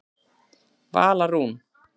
Vala Rún.